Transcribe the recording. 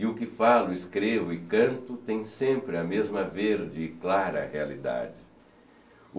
E o que falo, escrevo e canto tem sempre a mesma verde e clara realidade.